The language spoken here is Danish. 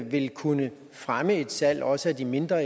vil kunne fremme et salg også af de mindre